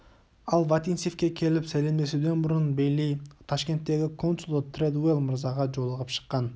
ал вотинцевке келіп сәлемдесуден бұрын бейли ташкенттегі консулы тредуэлл мырзаға жолығып шыққан